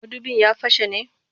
Mudubin ya fashe ne?